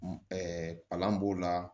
palan b'o la